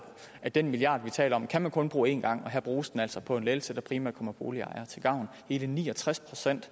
at den milliard vi taler om kan man kun bruge en gang og her bruges den altså på en lettelse som primært kommer boligejere til gavn hele ni og tres procent